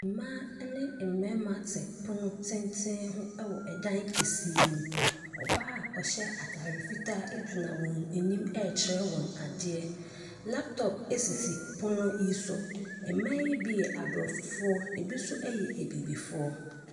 Mmaa ne mmarima te pono tenten ho ɛwɔ ɛdan kɛseɛ mu. Ɔbaa ɔhyɛ ataade fitaa egyina wɔn anim ɛrekyerɛ wɔn adeɛ. Laptop esisi pono yi so. Mmaa yi bi yɛ abrɔfo na ebi yɛ abibifoɔ.